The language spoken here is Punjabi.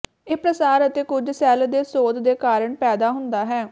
ਇਹ ਪ੍ਰਸਾਰ ਅਤੇ ਕੁਝ ਸੈੱਲ ਦੇ ਸੋਧ ਦੇ ਕਾਰਨ ਪੈਦਾ ਹੁੰਦਾ ਹੈ